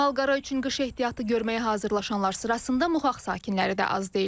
Malqara üçün qış ehtiyatı görməyə hazırlaşanlar sırasında Muqaq sakinləri də az deyil.